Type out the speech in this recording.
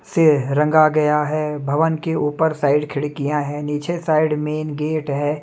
से रंगा गया हैं भवन के ऊपर साइड खिड़कियां हैं नीचे साइड मेन गेट है।